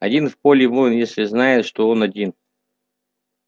один в поле воин если знает что он один